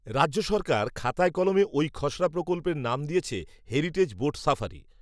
রাজ্য সরকার খাতায়কলমে, ওই খসড়া প্রকল্পের নাম দিয়েছে, হেরিটেজ বোট সাফারি